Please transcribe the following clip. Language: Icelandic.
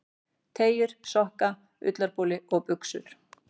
Teygjur, sokka, ullarboli og buxur.